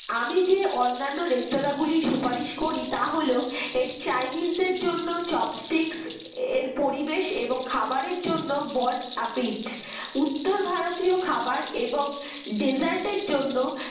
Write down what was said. আমি যে অন্যান্য restaurant লির সুপারিশ করি তা হলো Chinese দের জন্য chopstick এর পরিবেশ এবং খাবারের জন্য বন আপিড উত্তর ভারতীয় খাবার এবং desert এর জন্য